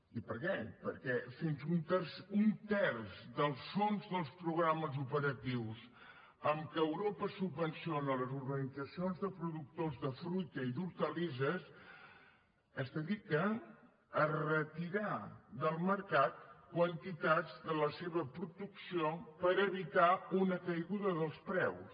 i per què perquè fins a un terç dels fons dels programes operatius amb què europa subvenciona les organitzacions de productors de fruita i d’hortalisses es dedica a retirar del mercat quantitats de la seva producció per evitar una caiguda dels preus